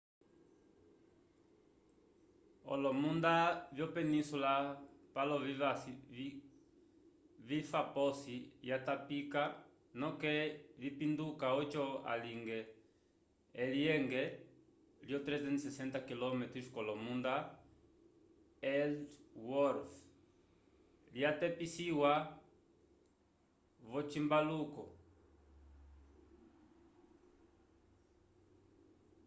olomunda vyo penísula palo vifa posi yatapika noke vipinduka oco alinge elyenge lyo 360 km ko lomunda ellsworth lya tepisiwa vo cimbaluko